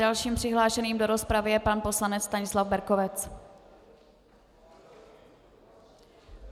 Dalším přihlášeným do rozpravy je pan poslanec Stanislav Berkovec.